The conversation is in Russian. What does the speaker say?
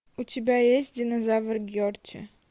у тебя есть динозавр герти